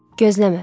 Gözləmə.